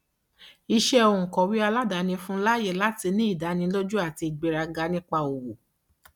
iṣẹ òǹkọwé aládàáni fún un láyè láti ní ìdánilójú àti ìgbéraga nípa owó